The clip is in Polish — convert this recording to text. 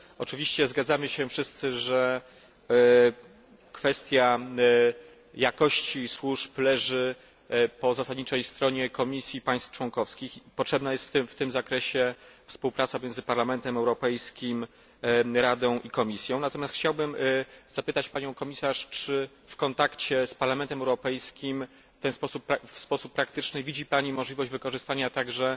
Oczywiście zgadzamy się wszyscy, że kwestia jakości służb leży po zasadniczej stronie Komisji i państw członkowskich i potrzebna jest w tym zakresie współpraca między Parlamentem Europejskim, Radą i Komisją. Natomiast panią komisarz chciałbym zapytać, czy w kontakcie z Parlamentem Europejskim w sposób praktyczny widzi Pani możliwość wykorzystania także